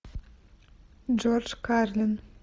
джордж карлин